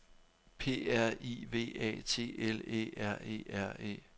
P R I V A T L Æ R E R E